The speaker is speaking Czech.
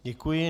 Děkuji.